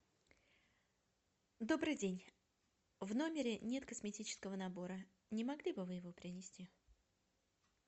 добрый день в номере нет косметического набора не могли бы вы его принести